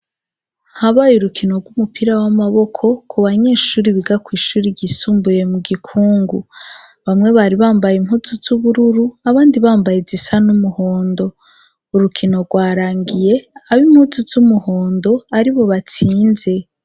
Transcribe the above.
Habaye urukino rw'umupira w'amaboko ku banyeshuri biga kw'ishuri ryisumbuye mu gikungu bamwe bari bambaye impuzu z'ubururu abandi bambaye zisa n'umuhondo, urukino rwarangiye abo impuzu z'umuhondo ari bo batsinze.